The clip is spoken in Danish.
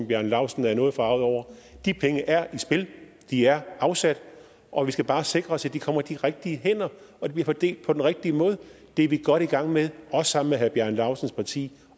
bjarne laustsen er noget forarget over at de penge er i spil de er afsat og vi skal bare sikre os at de kommer i de rigtige hænder og bliver fordelt på den rigtige måde det er vi godt i gang med også sammen med herre bjarne laustsens parti